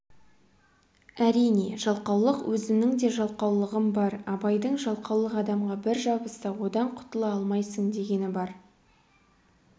әрине жалқаулық өзімнің де жалқаулығым бар абайдың жалқаулық адамға бір жабысса одан құтыла алмайсың дегені бар